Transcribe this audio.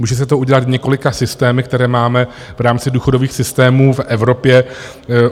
Může se to udělat několika systémy, které máme v rámci důchodových systémů v Evropě.